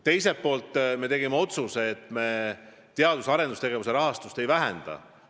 Teiselt poolt tegime otsuse, et me teadus- ja arendustegevuse rahastust ei vähenda.